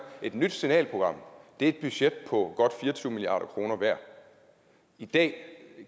et nyt signalprogram et budget på godt fire og tyve milliard kroner i dag